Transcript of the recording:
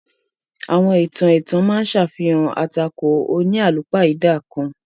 Àwọn ìtàn ètàn ma á ṣàfihàn atàkò oníalúpáidà kan.